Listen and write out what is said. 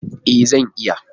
E, zan iya.